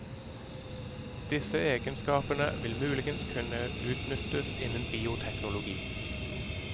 Disse egenskapene vil muligens kunne utnyttes innen bioteknologi.